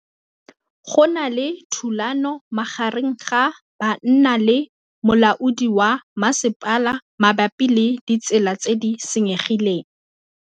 Go na le thulanô magareng ga banna le molaodi wa masepala mabapi le ditsela tse di senyegileng.